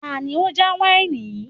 Tani ó já wáìnì yìí